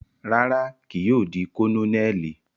Rara, kii yóò di Kononeli